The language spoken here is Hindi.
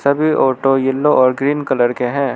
वे ऑटो येलो और ग्रीन कलर के हैं।